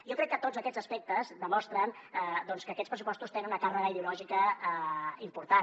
jo crec que tots aquests aspectes demostren doncs que aquests pressupostos tenen una càrrega ideològica important